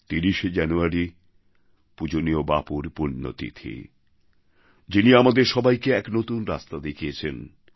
৩০শে January পূজনীয় বাপুর পুণ্যতিথি যিনি আমাদের সবাইকে এক নতুন রাস্তা দেখিয়েছেন